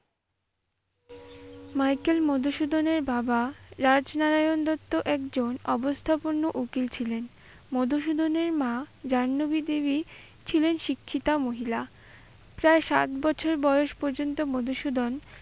Michael মধুসূদনের বাবা রাজনারায়ণ দত্ত একজন অবস্থাপন্ন উকিল ছিলেন। মধুসূদনের মা জাহ্নবী দেবী ছিলেন শিক্ষিতা মহিলা। প্রায় সাত বছর বয়স পর্যন্ত মধুসূদন